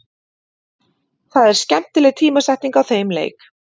Það er skemmtileg tímasetning á þeim leik.